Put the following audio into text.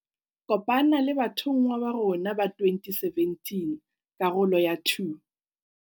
Kopana le bathonngwa ba rona ba 2017, karolo ya 2.